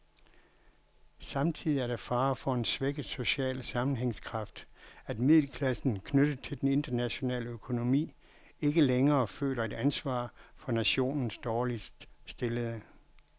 Samtidig er der fare for en svækket social sammenhængskraft, at middelklassen, knyttet til den internationale økonomi, ikke længere føler et ansvar for nationens dårligt stillede.